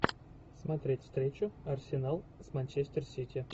смотреть встречу арсенал с манчестер сити